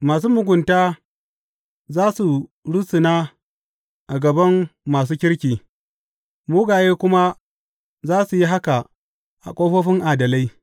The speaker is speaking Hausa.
Masu mugunta za su rusuna a gaban masu kirki, mugaye kuma za su yi haka a ƙofofin adalai.